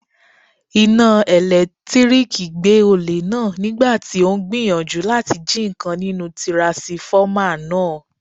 Iná ẹ̀lẹ́tíríkì gbé olè náà nígbàtí ó ń gbìyànjú láti jí ǹkan nínú tiransifọ́mà náà.